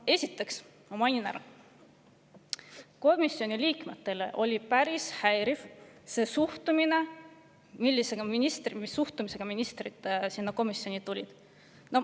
Esiteks, mainin ära, komisjoni liikmetele oli päris häiriv see suhtumine, millega ministrid sinna komisjoni tulid.